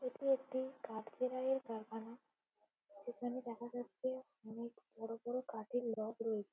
এটি একটি কাঠকিরাই কারখানা যেখানে দেখা যাচ্ছে অনেক বড়ো বড়ো কাঠের লক রয়েছে।